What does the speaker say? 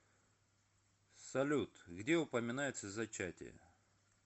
салют где упоминается зачатие